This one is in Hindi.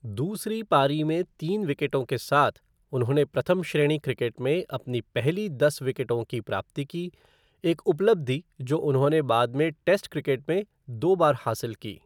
दूसरी पारी में तीन विकेटों के साथ, उन्होंने प्रथम श्रेणी क्रिकेट में अपनी पहली दस विकेटों की प्राप्ति की, एक उपलब्धि जो उन्होंने बाद में टेस्ट क्रिकेट में दो बार हासिल की।